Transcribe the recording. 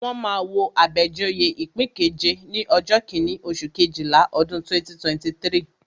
Wọ́n máa wo Abejoye ipin keje ní ọjọ́ kíní, oṣù Kejìlá, ọdún 2023.